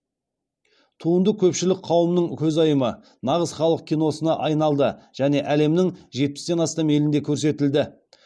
туынды көпшілік қауымның көзайымы нағыз халық киносына айналды және әлемнің жетпістен астам елінде көрсетілді